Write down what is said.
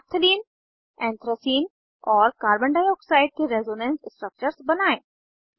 naphthalene anthracene और carbon dioxide के resonance structures बनायें